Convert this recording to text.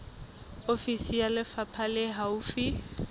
ofisi ya lefapha le haufi